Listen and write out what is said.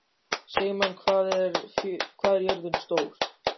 Sigmann, hvað er jörðin stór?